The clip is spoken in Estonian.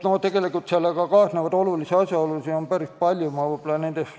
Nii et kaasnevaid olulisi asjaolusid on päris palju.